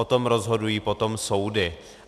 O tom rozhodují potom soudy.